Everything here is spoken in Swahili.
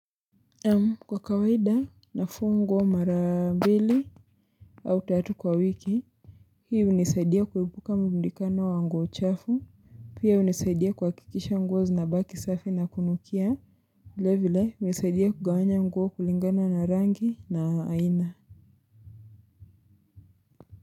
Kwa kawaida na fungwa mara mbili au tatu kwa wiki Hii unisaidia kuepuka mbundikana wa nguo chafu Pia hunisaidia kwa kikisha nguo zinabaki safi na kunukia vile vile unisaidia kugawanya nguo kulingana na rangi na aina.